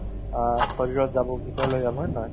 অ, শৰীৰত যাব ভিতৰলৈ যাব হয় নে নহয়